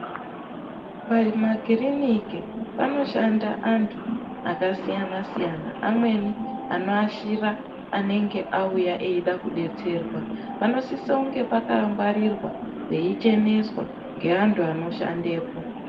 Pamakiriniki panoshanda anhu akasiyana -siyana amweni anoashira anenge auya eida kudetserwa. Panosisonge pakangwarirwa peicheneswa ngeantu anoshandepo.